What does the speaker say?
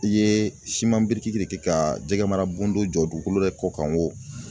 I ye biriki de kɛ ka jɛgɛmara bundo jɔ dugukolo yɛrɛ kɔ kan